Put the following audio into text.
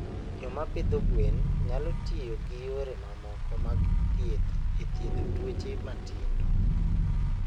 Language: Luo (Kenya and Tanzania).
Joma pidho gwen nyalo tiyo gi yore mamoko mag thieth e thiedho tuoche matindo.